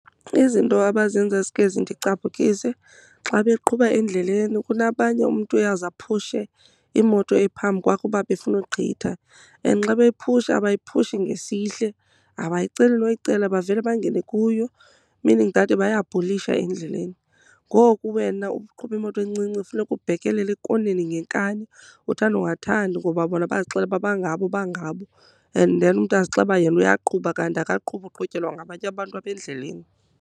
Izinto abazenzayo ezike zindicaphukise xa beqhuba endleleni kunabanye umntu uyawuze aphushe imoto ephambi kwakhe kuba befuna ugqitha. And xa bephusha abayiphushi ngesihle, abayiceli noyicela bavele bangene kuyo meaning that bayabhulisha endleleni. Ngoku wena uqhuba imoto encinci funeka ubhekelele ekoneni ngenkani uthanda ungathandi, ngoba bona bazixelele uba bangabo bangabo. And then umntu azixelele uba yena uyaqhuba kanti akaqhubi uqhutyelwa ngabanye abantu apha endleleni.